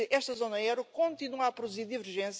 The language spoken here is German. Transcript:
Frieden ist heute nicht mehr